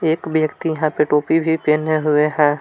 एक व्यक्ति यहां पे टोपी भी पहने हुए हैं।